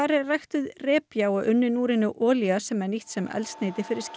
er ræktuð repja og unnin úr henni olía sem er nýtt sem eldsneyti fyrir skip